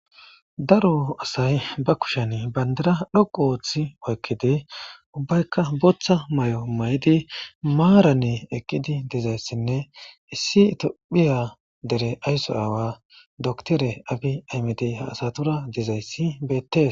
daro asay ba kushen bandira dhoqu ooththi oykkidi ubbaykka booththa mayo maydi maarane eqqidi dizayssinne issi itophiya dere aysso aawa doktore abi aymidiy ha asatura dizayssi bettes